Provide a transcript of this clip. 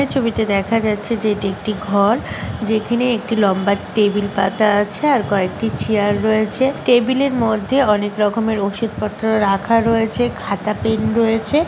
ছবিতে দেখা যাচ্ছে যেটি একটি ঘর যেখানে একটি লম্বা টেবিল পাতা আছেআর কয়েকটি চেয়ার রয়েছে ।টেবিলের মধ্যে অনেক রকমের ওষুধপত্র রাখা রয়েছেখাতা পেন রয়েছে --